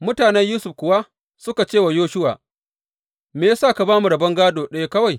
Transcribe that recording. Mutanen Yusuf kuwa suka ce wa Yoshuwa, Me ya sa ka ba mu rabon gādo ɗaya kawai?